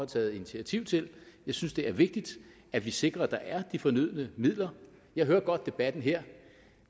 taget initiativ til jeg synes det er vigtigt at vi sikrer at der er de fornødne midler jeg hørte godt debatten her